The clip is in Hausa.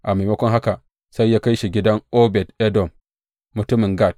A maimakon haka sai ya kai shi gidan Obed Edom mutumin Gat.